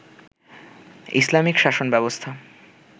Islamic শাসন ব্যবস্থা